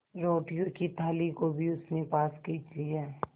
रोटियों की थाली को भी उसने पास खींच लिया